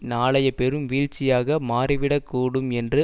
நாளைய பெரும் வீழ்ச்சியாக மாறிவிடக்கூடும் என்று